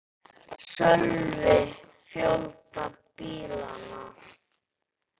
Sölvi: Fjölda bílanna?